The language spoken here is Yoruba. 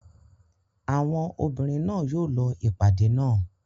Àwọn obìnrin náà yóò lọ ìpàdé náà.